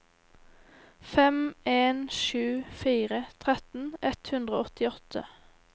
fem en sju fire tretten ett hundre og åttiåtte